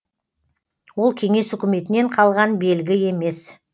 ол кеңес үкіметінен қалған белгі емес